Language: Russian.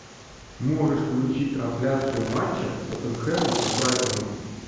можешь включить трансляцию матча тоттенхэма с брайтоном